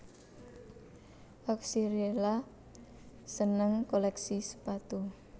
Oxcerila seneng kolèksi sepatu